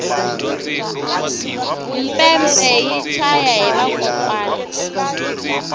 mpepe yi chaya hi vakokwani